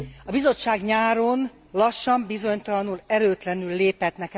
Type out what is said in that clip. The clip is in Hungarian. A Bizottság nyáron lassan, bizonytalanul, erőtlenül lépett.